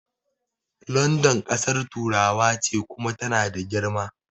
London ƙasar turawa ce Kuma tana da girma